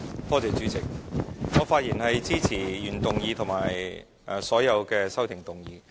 我發言支持原議案和所有修正案。